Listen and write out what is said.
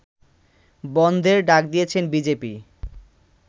বনধের ডাক দিয়েছে বিজেপি